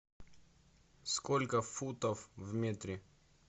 сколько футов в метре